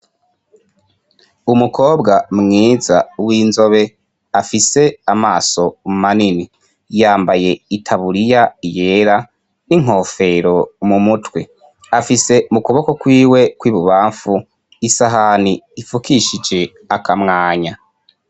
Umukobwa mwiza w'inzobe afise amaso mu manini, yambaye itaburiya yera n'inkofero mu mutwe, afise mu kuboko kwiwe kw'ibubamfu isahani ifukishije akamwanya.